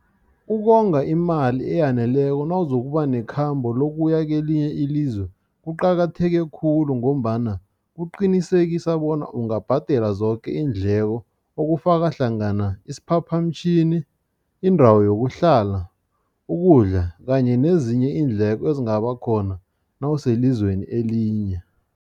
Ukonga imali eyaneleko nawuzokuba nekhamba lokuya kelinye ilizwe, kuqakatheke khulu ngombana kuqinisekisa bona ungabhadela zoke iindleko okufaka hlangana isiphaphamtjhini, indawo yokuhlala, ukudla kanye nezinye iindleko ezingabakhona nawuselizweni elinye.